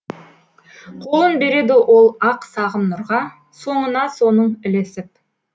қолын береді ол ақ сағым нұрға соңына соның ілесіп